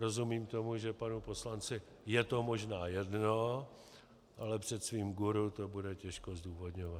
Rozumím tomu, že panu poslanci je to možná jedno, ale před svým guru to bude těžko zdůvodňovat.